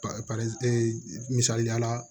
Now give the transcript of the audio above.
misaliya la